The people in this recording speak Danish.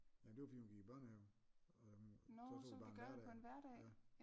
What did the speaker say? Ja det var fordi hun gik i børnehave og øhm så tog vi bare en hverdag ja